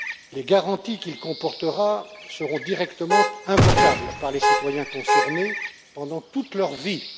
Les garanties qu'il comportera seront directement invocables par les citoyens concernés pendant toute leur vie.